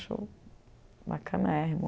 Acho bacanérrimo.